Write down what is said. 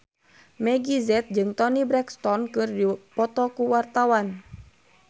Meggie Z jeung Toni Brexton keur dipoto ku wartawan